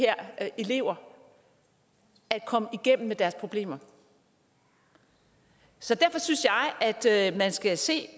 elever at komme igennem med deres problemer så derfor synes jeg at man skal se